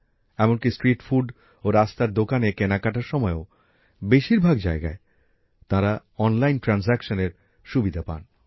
এমনকি street food ও রাস্তার দোকানে কেনাকাটার সময়েও বেশীরভাগ জায়গায় তারা অনলাইনে আর্থিক লেনদেনের সুবিধা পান